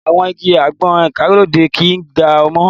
Àwọn igi àgbọn ìgbàlódé kì ń ga mọ́.